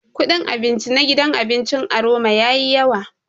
Kudin abinci na gidan abincin Aroma yayi yawa.